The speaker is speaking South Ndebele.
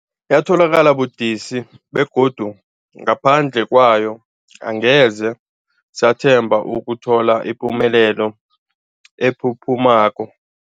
Yatholakala budisi, begodu ngaphandle kwayo angeze sathemba ukuthola ipumelelo ephuphumako.